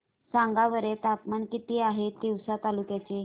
सांगा बरं तापमान किती आहे तिवसा तालुक्या चे